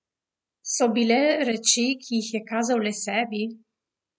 So bile reči, ki jih je kazal le sebi?